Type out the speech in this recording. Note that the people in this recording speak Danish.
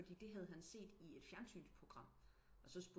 Fordi det havde han set i et fjensynsprogram og så